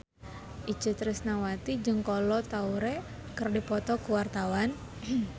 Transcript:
Itje Tresnawati jeung Kolo Taure keur dipoto ku wartawan